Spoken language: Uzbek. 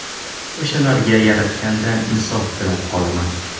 O‘shalarga yaratgandan insof tilab qolaman.